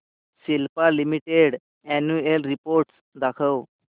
Cipla limited annual report दाखव